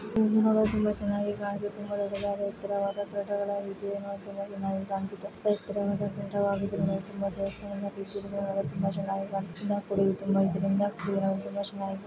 ಇದೊಂದು ದೇವಸ್ಥಾನ ತುಂಬಾ ಚೆನ್ನಾಗಿದೆ ದೊಡ್ಡ ಚೆನ್ನಾಗಿ ಕಾಣ್ತಾ ಇದೆ